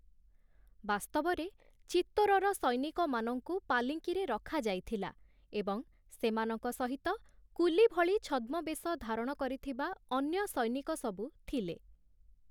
ବାସ୍ତବରେ, ଚିତ୍ତୋରର ସୈନିକମାନଙ୍କୁ ପାଲିଙ୍କିରେ ରଖାଯାଇଥିଲା ଏବଂସେମାନଙ୍କ ସହିତ କୁଲି ଭଳି ଛଦ୍ମବେଶ ଧାରଣ କରିଥିବା ଅନ୍ୟ ସୈନିକସବୁ ଥିଲେ ।